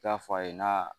I t'a fɔ a ye n'a